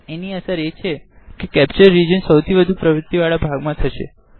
એની અસર એ છે કે કેપ્ચર રીજન સૌથી વધુ પવૃત્તિ વાળા ભાગ મા થશે